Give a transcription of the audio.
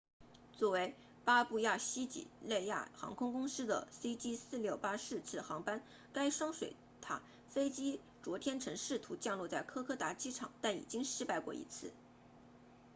作为巴布亚新几内亚航空公司的 cg4684 次航班该双水獭飞机昨天曾试图降落在科科达机场但已经失败过一次